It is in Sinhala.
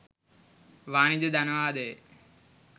වාණිජ ධනවාදයේ